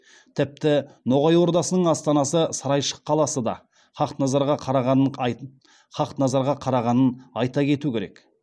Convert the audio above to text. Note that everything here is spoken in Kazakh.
тіпті ноғай ордасының астанасы сарайшық қаласы да хақназарға қарағанын айта кету керек